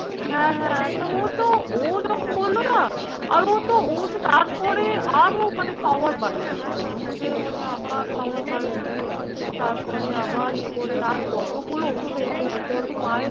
হ্যাঁ হ্যাঁ তো ও তো ও যখন বলল না আর ও তো, ও তো তারপরে আরো মানে power বাড়িয়ে দিচ্ছে ওষুধের মানে আবার power বাড়িয়ে দিয়ে তারপরে আবার ইয়ে করে আর কতগুলো ওষুধ এভাবে যাচ্ছে বলতো। মায়ের